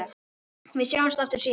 Við sjáumst aftur síðar.